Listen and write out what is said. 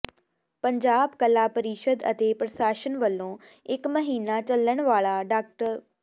ਪੰਜਾਬ ਕਲਾ ਪ੍ਰੀਸ਼ਦ ਅਤੇ ਪ੍ਰਸ਼ਾਸਨ ਵੱਲੋਂ ਇੱਕ ਮਹੀਨਾ ਚੱਲਣ ਵਾਲਾ ਡਾ